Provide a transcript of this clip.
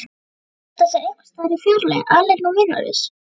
Þurfa að halda sér einhversstaðar í fjarlægð, aleinn og vinalaus.